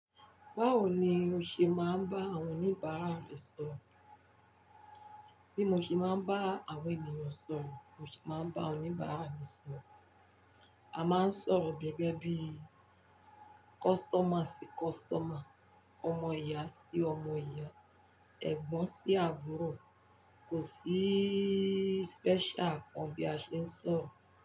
Báwo ni o ṣe máa ń bá àwọn oníbàárà rẹ sọ̀rọ̀? Bí mo ṣe máa ń bá àwọn ènìyàn sọ̀rọ̀, mo se máa ń bá oníbàárà mi sọ̀rọ̀. A máa ń sọ̀rọ̀ gẹ́gẹ́ bí customer sí customer, ọmọ ìyá sí ọmọ ìyá, ẹ̀gbọ́n sí àbúrò. Kò sí special kan bí a ṣe ń sọ̀rọ̀.